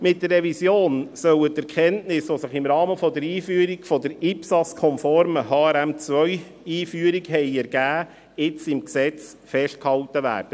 Mit der Revision sollen die Erkenntnisse, die sich im Rahmen der IPSAS-konformen HRM2Einführung ergeben haben, nun im Gesetz festgehalten werden.